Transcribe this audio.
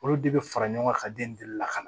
Olu de bɛ fara ɲɔgɔn kan ka den lakana